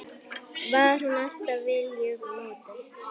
Var hún alltaf viljugt módel?